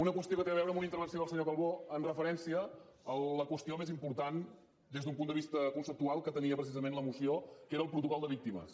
una qüestió que té a veure amb una intervenció del senyor calbó amb referència a la qüestió més important des d’un punt de vista conceptual que tenia precisament la moció que era el protocol de víctimes